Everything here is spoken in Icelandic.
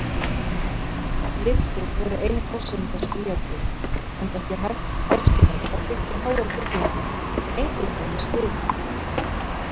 Lyftur voru ein forsenda skýjakljúfa, enda ekki æskilegt að byggja háar byggingar eingöngu með stigum.